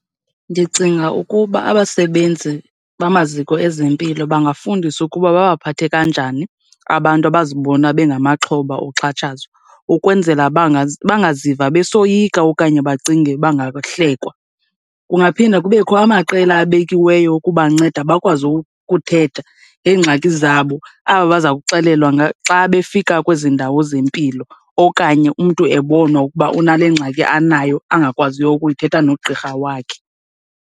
Ndicinga ukuba abasebenzi bamaziko ezempilo bangafundiswa ukuba babaphathe kanjani abantu abazibona bengamaxhoba oxhatshazwa ukwenzela bangazi, bangaziva besoyika okanye bacinge bangahlekwa. Kungaphinda kubekho amaqela abekiweyo ukubanceda bakwazi ukuthetha ngeengxaki zabo, aba baza kuxelelwa xa befika kwezi ndawo zempilo okanye umntu ebonwa ukuba unale ngxaki anayo angakwaziyo ukuyithetha nogqirha wakhe.